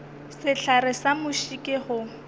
sehlare sa muši ke go